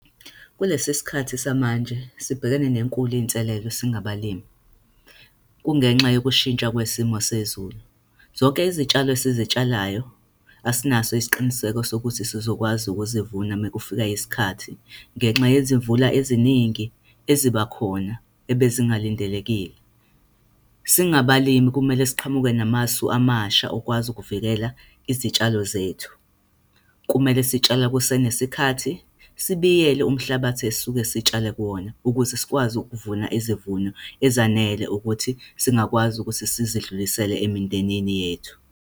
Kulesi sikhathi samanje sibhekene nenkulu inselelo singabalimi. Kungenxa yokushintsha kwesimo sezulu. Zonke izitshalo esizitshalayo, asinaso isiqiniseko sokuthi sizokwazi ukuzivuna mekufika isikhathi, ngenxa yezimvula eziningi eziba khona, ebezingalindelekile. Singabalimi kumele siqhamuke namasu amasha okwazi ukuvikela izitshalo zethu. Kumele sitshala kusenesikhathi, sibiyele umhlabathi esisuke sitshale kuwona, ukuze sikwazi ukuvuna izivuno ezanele ukuthi singakwazi ukuthi sizidlulisele emindenini yethu.